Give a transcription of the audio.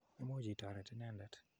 Imuch itoret inendet.